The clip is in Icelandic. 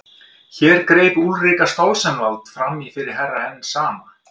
Hér greip Úlrika Stoltzenwald framí fyrir Herra Enzana.